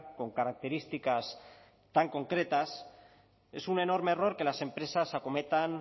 con características tan concretas es un enorme error que las empresas acometan